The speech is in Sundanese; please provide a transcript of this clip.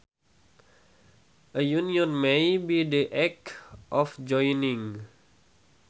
A union may be the act of joining